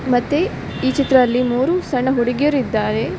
ಮತ್ತೆ ಈ ಚಿತ್ರದಲ್ಲಿ ಮೂರು ಸಣ್ಣ ಹುಡುಗಿಯರಿದ್ದಾರೆ.